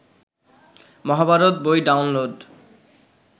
মহাভারত বই ডাউনলোড